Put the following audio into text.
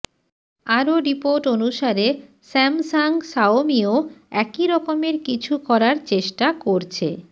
আর report অনুসারে Samsung শাওমিও একই রকমের কিছু করার চেষ্টা করছে